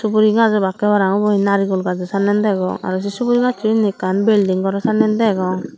suguri gaj obakkey para pang ubo he narikul gajo sannen degong aro sey subori gasso indi ekkan building goraw sannen degong.